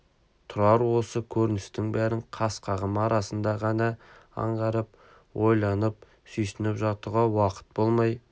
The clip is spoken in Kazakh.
тұрар осы көріністің бәрін қас-қағым арасында ғана аңғарып ойланып сүйсініп жатуға уақыты болмай